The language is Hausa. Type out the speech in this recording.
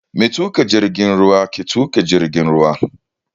Matuƙa jirgin ruwa ke tuƙa jirgin ruwa.